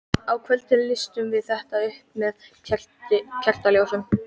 Á kvöldin lýstum við þetta upp með kertaljósum.